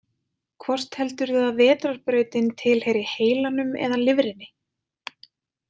Hvort heldurðu að Vetrarbrautin tilheyri heilanum eða lifrinni?